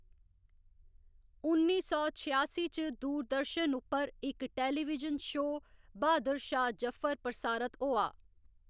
उन्नी सौ छेआसी च दूरदर्शन उप्पर इक टेलीविजन शो बहादुर शाह जफर प्रसारत होआ।